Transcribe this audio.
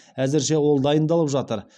әзірше ол дайындалып жатыр